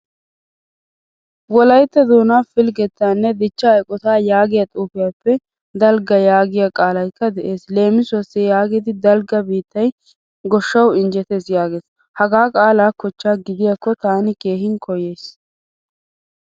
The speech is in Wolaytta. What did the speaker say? Wolaytta doonaa pilgettanne dichcha eqqotta yaagiyaa xuufiyaappe dalgga yaagiya qaalaykka de'ees. Leemisuwaasi yaagidi dalgga biittay goshshawu injjjettees yaagees. Hagaa qaala kochcha gidiyako taani keehin koyaysi.